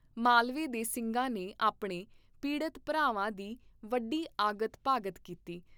ਮਾਲਵੇ ਦੇ ਸਿੰਘਾਂ ਨੇ ਆਪਣੇ ਪੀੜਤ ਭਰਾਵਾਂ ਦੀ ਵੱਡੀ ਆਗਤ ਭਾਗਤ ਕੀਤੀ